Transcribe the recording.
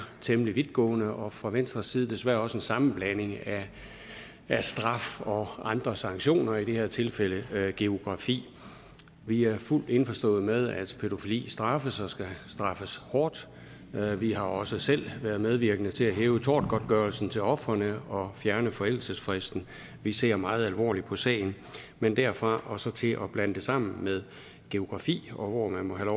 temmelig vidtgående og set fra venstres side desværre også en sammenblanding af straf og andre sanktioner i det her tilfælde geografi vi er fuldt indforstået med at pædofili skal straffes og skal straffes hårdt vi har også selv været medvirkende til at hæve tortgodtgørelsen til ofrene og fjerne forældelsesfristen vi ser meget alvorligt på sagen men derfra og så til at blande det sammen med geografi og hvor man må have